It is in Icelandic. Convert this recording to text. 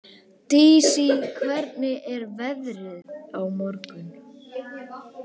Dissý, hvernig er veðrið á morgun?